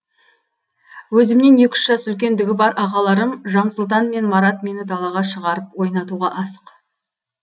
өзімнен екі үш жас үлкендігі бар ағаларым жансұлтан мен марат мені далаға шығарып ойнатуға асық